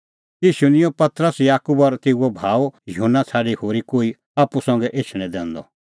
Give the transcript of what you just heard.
ईशू निं पतरस याकूब और तेऊए भाऊ युहन्ना छ़ाडी होरी कोही आप्पू संघै एछणैं दैनअ